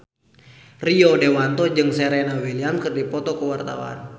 Rio Dewanto jeung Serena Williams keur dipoto ku wartawan